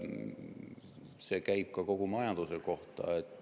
See käib ka kogu majanduse kohta.